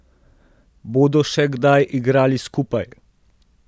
Bodo še kdaj igrali skupaj?